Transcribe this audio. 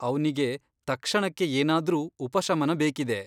ಅವ್ನಿಗೆ ತಕ್ಷಣಕ್ಕೆ ಏನಾದ್ರೂ ಉಪಶಮನ ಬೇಕಿದೆ.